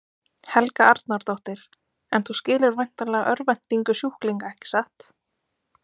Helga Arnardóttir: En þú skilur væntanlega örvæntingu sjúklinga ekki satt?